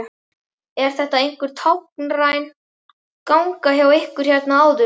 Er þetta einhver táknræn ganga hjá ykkur hérna áður?